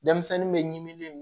Denmisɛnnin bɛ ɲimin ne nin